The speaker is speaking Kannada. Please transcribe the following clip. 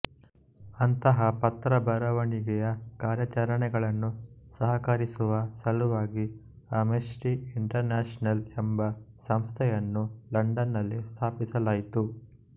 ಅಂತಹ ಪತ್ರಬರವಣಿಗೆಯ ಕಾರ್ಯಾಚರಣೆಗಳನ್ನು ಸಹಕರಿಸುವ ಸಲುವಾಗಿಅಮ್ನೆಸ್ಟಿ ಇಂಟರ್ನ್ಯಾಷನಲ್ ಎಂಬ ಸಂಸ್ಥೆಯನ್ನು ಲಂಡನ್ ನಲ್ಲಿ ಸ್ಥಾಪಿಸಲಾಯಿತು